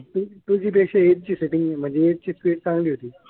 Two G पेक्षा एक ची सेटिंग म्हणजे एक ची स्पीड चांगली होती.